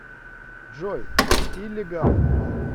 джой иллегал